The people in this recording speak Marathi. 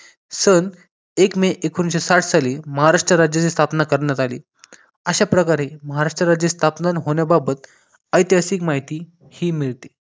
सन एक मे एकोणविसशे साठ साली महाराष्ट्र राज्याची स्थापना करण्यात आली अशाप्रकारे महाराष्ट्र राज्याचे स्थापना होण्याबाबत ऐतिहासिक माहिती ही मिळते